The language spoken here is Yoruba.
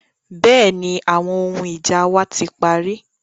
Bẹ́ẹ̀ni, àwọn ohun ija wa ti pari.